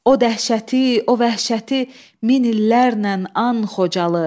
O dəhşəti, o vəhşəti min illərlə an Xocalı.